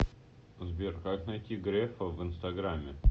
сбер как найти грефа в инстаграме